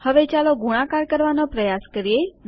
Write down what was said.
હવે ચાલો ગુણાકાર કરવાનો પ્રયાસ કરીએ